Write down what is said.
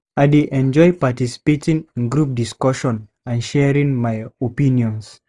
I dey enjoy participating in group discussions and sharing my opinions.